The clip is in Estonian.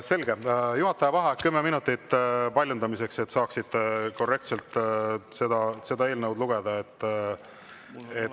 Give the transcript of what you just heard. Selge, juhataja vaheaeg kümme minutit paljundamiseks, et kõik saaksid korrektselt seda eelnõu lugeda.